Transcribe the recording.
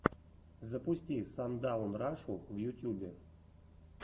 запусти сандаун рашу в ютьюбе